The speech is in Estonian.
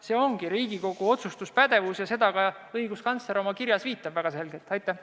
See ongi Riigikogu otsustuspädevus ja sellele õiguskantsler oma kirjas väga selgelt ka viitab.